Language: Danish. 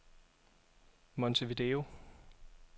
Montevideo